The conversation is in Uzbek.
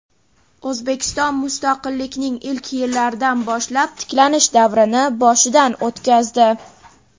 O‘zbekiston mustaqillikning ilk yillaridan boshlab tiklanish davrini boshidan o‘tkazdi.